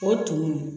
O tun